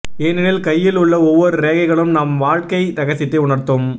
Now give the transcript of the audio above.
ஏனெனில் கையில் உள்ள ஒவ்வொரு ரேகைகளும் நாம் வாழ்க்கை ரகசியத்தை உணர்த்தும்